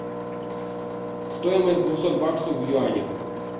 стоимость двухсот баксов в юанях